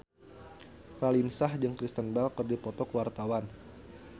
Raline Shah jeung Kristen Bell keur dipoto ku wartawan